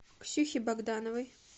ксюхе богдановой